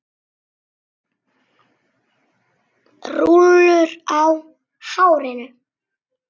Rúllur í hárinu.